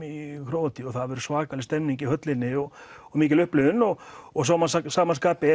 í Króatíu og þá verður alveg svakaleg stemning í höllinni og og mikil upplifun og og svo má að sama skapi